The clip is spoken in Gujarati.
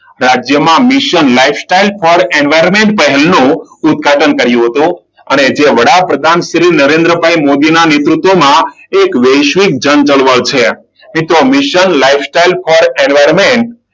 રાજ્યમાં mission lifestyle for environment પહેલ નું ઉદ્ઘાટન કર્યું હતું. અને જે વડાપ્રધાન નરેન્દ્ર ભાઈ મોદી ના નેતૃત્વમાં એક વૈશ્વિક જનચળવળ છે. મિત્રો, mission lifestyle for environment,